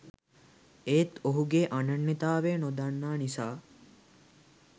ඒත් ඔහුගේ අනන්‍යතාවය නොදන්නා නිසා